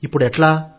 ఇప్పుడెట్లా